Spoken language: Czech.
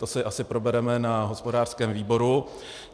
To si asi probereme na hospodářském výboru.